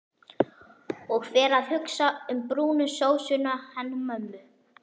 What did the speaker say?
Og fer að hugsa um brúnu sósuna hennar mömmu.